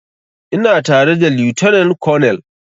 Ina tare da lieutenant colonel